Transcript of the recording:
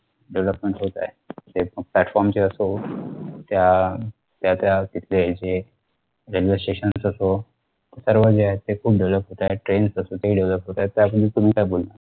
development होत आहे platform ची असो त्या त्यात्या तिथले जे railway stations असो हे सर्व जे आहे ते खूप Develop होतंय trains असो ते Develop होताय त्यासमोर तुम्ही काय बोलणार